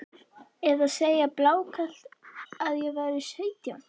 Eða segja blákalt að ég væri sautján?